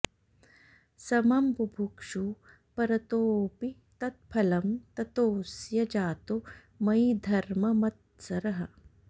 समं बुभुक्षू परतोऽपि तत्फलं ततोऽस्य जातो मयि धर्ममत्सरः